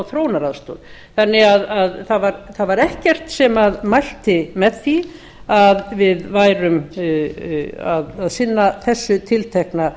þróunaraðstoð þannig að það var ekkert sem mælti með því að við værum að sinna þessu tiltekna